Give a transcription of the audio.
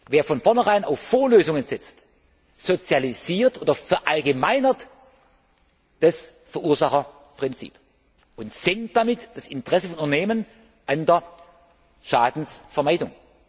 Wer von vorneherein auf Vorlösungen setzt, sozialisiert oder verallgemeinert das Verursacherprinzip und senkt damit das Interesse von Unternehmen an der Schadensvermeidung.